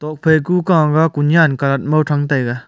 tokphai ku kao ma kunian kat mo tham taiga.